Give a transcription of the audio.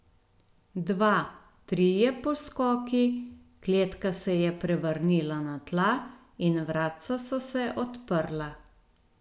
Dva, trije poskoki, kletka se je prevrnila na tla in vratca so se odprla.